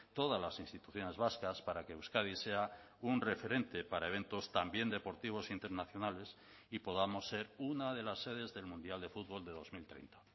todas las instituciones vascas para que euskadi sea un referente para eventos también deportivos internacionales y podamos ser una de las sedes del mundial de fútbol de dos mil treinta